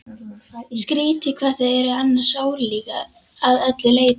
Skrýtið hvað þau eru annars ólík að öllu leyti.